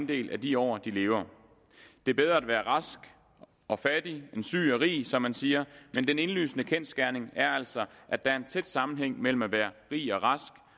del af de år de lever det er bedre at være rask og fattig end syg og rig som man siger men den indlysende kendsgerning er altså at der er en tæt sammenhæng mellem at være rig og rask